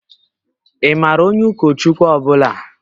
Ị maara onye ụkọchukwu ọ bụla?